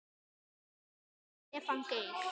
Kæri Stefán Geir.